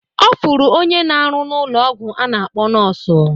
Ọ fụrụ onye n'aru n'ụlọ ọgwụ a na-akpọ nọọsụ